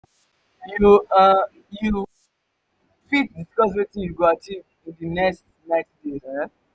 you um you um fit discuss wetin you go achieve in di next 90 days? um